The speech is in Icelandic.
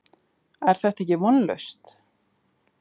Er þetta ekki vonlaust?